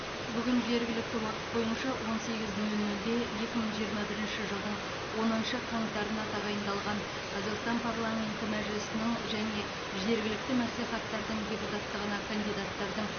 бүгін жергілікті уақыт бойынша он сегіз нөл нөлде екі мың жиырма бірінші жылдың оныншы қаңтарына тағайындалған қазақстан парламенті мәжілісінің және жергілікті мәслихаттардың депутаттығына кандидаттардың